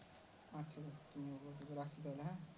আহ